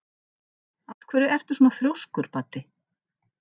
Af hverju ertu svona þrjóskur, Baddi?